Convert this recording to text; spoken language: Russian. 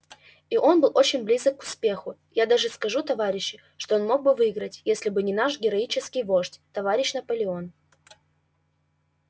и он был очень близок к успеху я даже скажу товарищи что он мог бы выиграть если бы не наш героический вождь товарищ наполеон